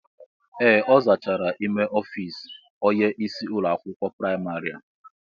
Ee, ọ zachaala ímé ọfiisi onye ịsị ụlọ akwụkwọ praịmarị a.